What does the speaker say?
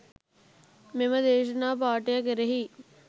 මෙම දේශනා පාඨය කෙරෙහි